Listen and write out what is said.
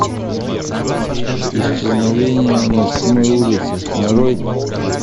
исчезновение на седьмой улице нарой